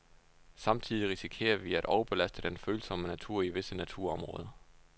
Samtidig risikerer vi at overbelaste den følsomme natur i visse naturområder.